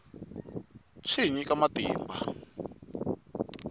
swi hi nyika matimba